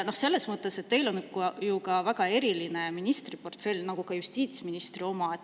Teil on ju väga eriline ministriportfell, nagu ka justiitsministril.